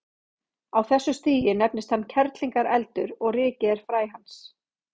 Á þessu stigi nefnist hann kerlingareldur og rykið er fræ hans.